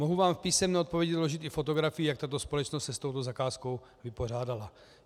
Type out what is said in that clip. Mohu vám v písemné odpovědi doložit i fotografie, jak tato společnost se s touto zakázkou vypořádala.